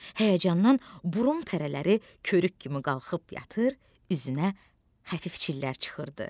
Həyəcandan burun pərələri körük kimi qalxıb yatır, üzünə xəfif çillər çıxırdı.